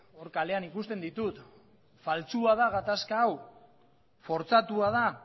kalean ikusten ditut faltsua da gatazka hau fortzatua da